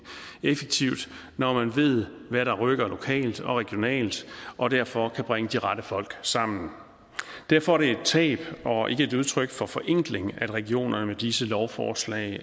effektivt når man ved hvad der rykker lokalt og regionalt og derfor kan bringe de rette folk sammen derfor er det et tab og ikke et udtryk for forenkling at regionerne med disse lovforslag